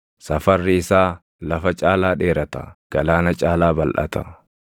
Safarri isaa lafa caalaa dheerata; galaana caalaa balʼata.